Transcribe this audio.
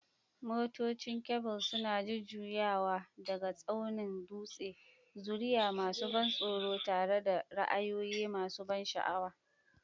Motocin kebul suna jujjuyawa daga tsaunin dutse, zuriya masu ban tsoro tare da ra'ayoyi masu ban sha'awa.